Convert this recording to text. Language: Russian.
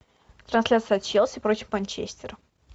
трансляция челси против манчестера